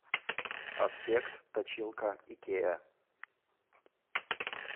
аспект точилка икеа